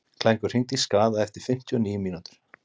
Klængur, hringdu í Skaða eftir fimmtíu og níu mínútur.